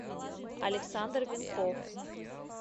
александр венков